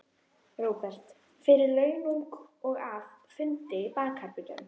Róbert: Fyrir launung og að, fundi í bakherbergjum?